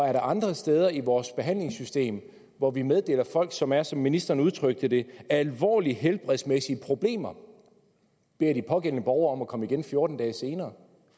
er der andre steder i vores behandlingssystem hvor vi meddeler folk som har som ministeren udtrykte det alvorlige helbredsmæssige problemer at de pågældende borgere kan komme igen fjorten dage senere